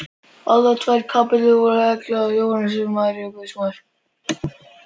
Aðrar tvær kapellur voru helgaðar Jóhannesi skírara og Maríu guðsmóður.